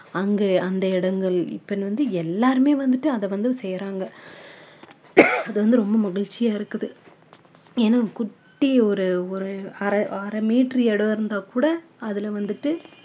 அங்க அந்த இடங்கள் இப்போ வந்து எல்லாருமே வந்துட்டு அதை வந்து செய்யுறாங்க அது வந்து ரொம்ப மகிழ்ச்சியா இருக்குது ஏன்னா குட்டி ஒரு ஒரு அரை அரை meter இடம் இருந்தா கூட அதுல வந்துட்டு